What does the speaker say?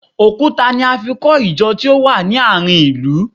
Òkúta ni a fi kọ Ìjọ tí ó wà ní àárín ilu